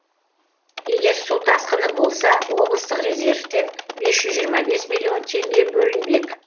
егер су тасқыны болса облыстық резервтен бес жүз жиырма бес миллион теңге бөлінбек